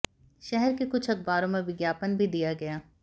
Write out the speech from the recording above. शहर के कुछ अखबारों में विज्ञापन भी दिया गया